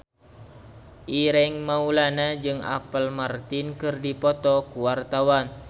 Ireng Maulana jeung Apple Martin keur dipoto ku wartawan